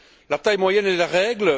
La taille moyenne est la règle.